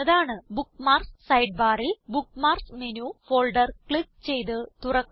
bookmarks side ബാറിൽ bookmarks menu folder click ചെയ്ത് തുറക്കുക